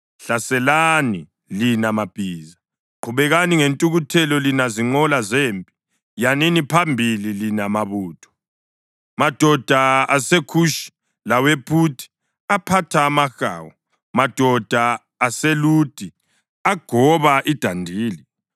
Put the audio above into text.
Hlaselani, lina mabhiza! Qhubekani ngentukuthelo, lina zinqola zempi! Yanini phambili, lina mabutho, madoda aseKhushi lawePhuthi, aphatha amahawu, madoda aseLudi agoba idandili.